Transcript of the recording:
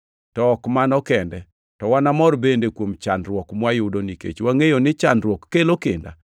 To ok mano kende, to wanamor bende kuom chandruok mwayudo, nikech wangʼeyo ni chandruok kelo kinda,